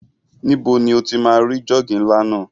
Níbo ni o ti máa rí jọ́ọ̀gì ńlá náà?